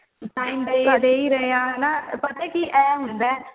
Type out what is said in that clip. time ਤੇ ਤੁਹਾਡੇ ਇਵੇਂ ਹਾ ਹੇਨਾ ਪਤਾ ਕੀ ਇਹ ਹੁੰਦਾ ਹੈ